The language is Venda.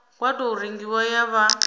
wa tou rengiwa ya vha